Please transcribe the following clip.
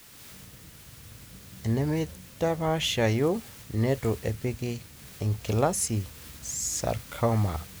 enemeitapashayu/netu epiki enkilasi sarcoma.